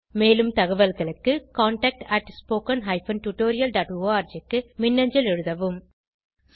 மேலும் தகவல்களுக்கு contactspoken tutorialorg க்கு மின்னஞ்சல் எழுதவும்